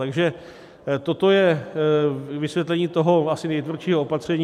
Takže toto je vysvětlení toho asi nejtvrdšího opatření.